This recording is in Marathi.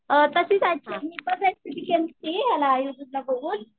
अ तशी केलेली याला युट्युबला बघून